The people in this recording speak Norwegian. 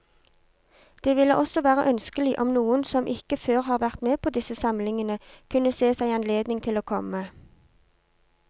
Det ville også være ønskelig om noen som ikke før har vært med på disse samlingene, kunne se seg anledning til å komme.